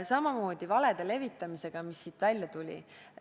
Samamoodi on valede levitamisega, mis siit välja tuli.